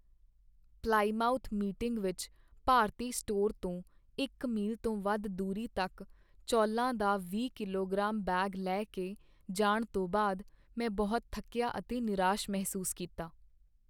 Plymouth Meeting ਵਿੱਚ ਭਾਰਤੀ store ਤੋਂ ਇੱਕ ਮੀਲ ਤੋਂ ਵੱਧ ਦੂਰੀ ਤੱਕ ਚੌਲਾਂ ਦਾ ਵੀਹ ਕਿਲੋਗ੍ਰਾਮ ਬੈਗ ਲੈ ਕੇ ਜਾਣ ਤੋਂ ਬਾਅਦ ਮੈਂ ਬਹੁਤ ਥੱਕਿਆ ਅਤੇ ਨਿਰਾਸ਼ ਮਹਿਸੂਸ ਕੀਤਾ।